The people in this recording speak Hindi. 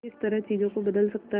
किस तरह चीजों को बदल सकता है